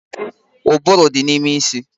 Ụbụrụ dị n'ime isi